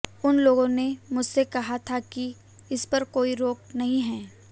उन लोगों ने मुझसे कहा था कि इसपर कोई रोक नहीं है